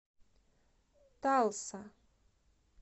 талса